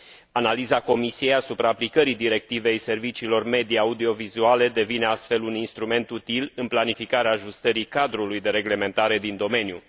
Analiza Comisiei asupra aplicării Directivei serviciilor media audiovizuale devine, astfel, un instrument util în planificarea ajustării cadrului de reglementare din domeniu.